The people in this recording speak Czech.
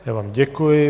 Já vám děkuji.